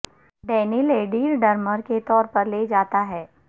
Daniel Adair drummer کے طور پر لے جاتا ہے